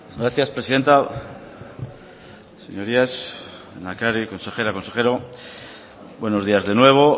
gracias presidenta señorías lehendakari consejera consejero buenos días de nuevo